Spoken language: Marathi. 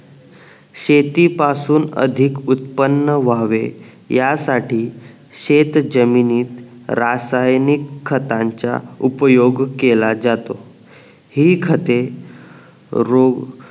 शेतीपासुन अधिक उत्पन्न व्हावे या साठी शेत जमीनीत रासायनिक खतांच्या उपयोग केला जातो हि खते रोग